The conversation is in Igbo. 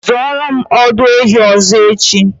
Zụoro m ọdụ ehi ọzọ echi!